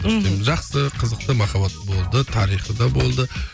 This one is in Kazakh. мхм жақсы қызықты махаббат болды тарихы да болды